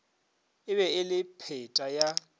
e be le pheta ya